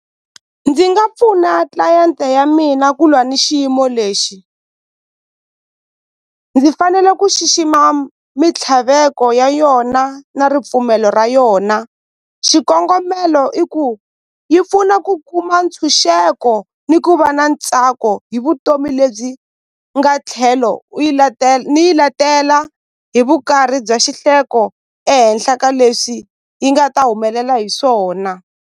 Ndzi nga pfuna client-e ya mina ku lwa na xiyimo lexi ndzi fanele ku xixima mintlhaveko ya yona na ripfumelo ra yona xikongomelo i ku yi pfuna ku kuma ntshunxeko ni ku va na ntsako hi vutomi lebyi nga tlhelo u yi ni yi letela hi vukarhi bya xihleko ehenhla ka leswi yi nga ta humelela hi swona.